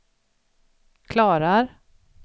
klarar